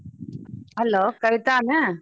Hello ಕವಿತಾನ?